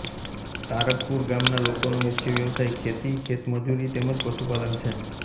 તારકપુર ગામના લોકોનો મુખ્ય વ્યવસાય ખેતી ખેતમજૂરી તેમ જ પશુપાલન છે